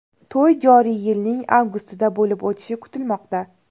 To‘y joriy yilning avgustida bo‘lib o‘tishi kutilmoqda.